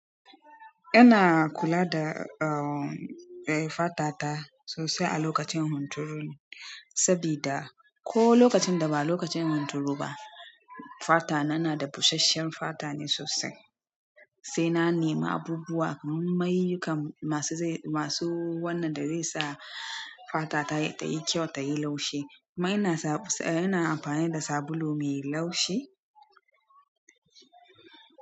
Ina kula da, eh, fata ta sosai a lokacin hunturu, sabida ko lokacin da ba lokacin hunturu ba, fata na na da busasshen fata ne sosai. Sai na nema abubuwa, mayuka masu wannan da zesa fatata tayi kyau tayi laushi mai na amfani da sabulu mai laushi.